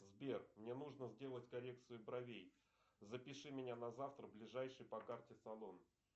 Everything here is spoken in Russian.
сбер мне нужно сделать коррекцию бровей запиши меня на завтра в ближайший по карте салон